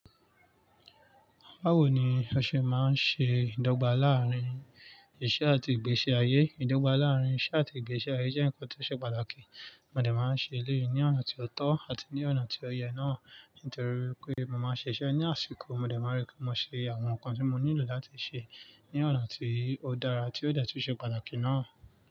Báwo ni o ṣe ma ń ṣe ìdọ́gba láàrin iṣẹ́ àti ìgbésí ayé? Ìdọ́gba láàrin iṣẹ́ àti ìgbésí ayé jẹ́ ǹkan tí ó ṣe pàtàkì. Mo dẹ ma ń ṣe lẹ́yì ní ọ̀nà tí ó tọ́ àti ní ọ̀nà tí ó yẹ náà nítorí wípé mo ma ń ṣiṣẹ́ ní àsìkò, mo dẹ ma ń rí pé mo ṣe àwọn ǹkan tí mo nílò láti ṣe ní ọ̀nà tí ó dára tí ó dẹ tún ṣe pàtàkì náà.